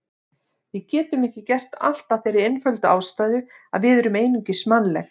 Við getum ekki gert allt af þeirri einföldu ástæðu að við erum einungis mannleg.